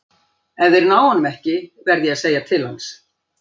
Ef þeir ná honum ekki verð ég að segja til hans.